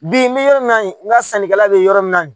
Bi n mi yɔrɔ min na n ga sannikala be yɔrɔ min na